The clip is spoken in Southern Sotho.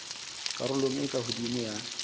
karolong e ka hodimo ya